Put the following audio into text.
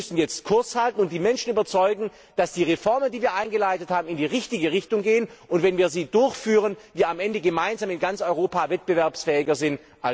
Wir müssen jetzt Kurs halten und die Menschen überzeugen, dass die Reformen, die wir eingeleitet haben, in die richtige Richtung gehen, und dass wir, wenn wir sie durchführen, am Ende in ganz Europa gemeinsam wettbewerbsfähiger sind